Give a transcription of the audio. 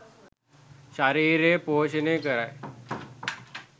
ශරීරය පෝෂණය කරයි.